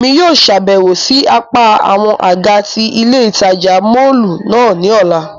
Emi yóò ṣabẹwo si apa awọn aga ti ile itaja mọllu náa ni ọla.